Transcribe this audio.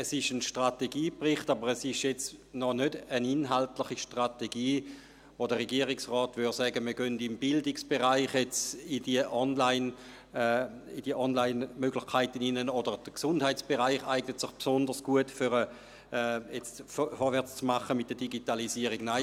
Es ist ein Strategiebericht, es ist aber noch keine inhaltliche Strategie, von welcher der Regierungsrat sagen würde, wir gingen im Bildungsbereich in die Online-Möglichkeiten hinein, oder der Gesundheitsbereich eigne sich besonders gut, um jetzt mit der Digitalisierung vorwärtszumachen.